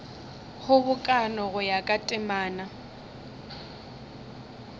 kgobokano go ya ka temana